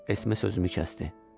Esme sözümü kəsdi.